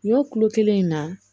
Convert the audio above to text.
Ɲɔ kulo kelen in na